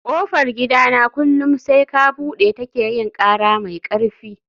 kofar gidana kullum sai ka bude ta ke yin kara mai karfi